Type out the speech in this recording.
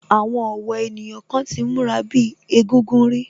Àwọn ọ̀wọ́ ènìyàn kan ti múra bíi egúngún rí